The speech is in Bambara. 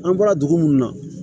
An bɔra dugu munnu na